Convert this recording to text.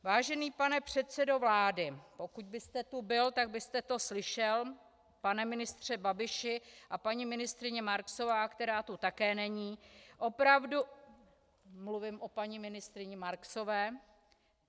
Vážený pane předsedo vlády, pokud byste tu byl, tak byste to slyšel, pane ministře Babiši a paní ministryně Marksová, která tu také není -. Mluvím o paní ministryni Marksové.